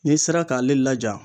N'i sera k'ale laja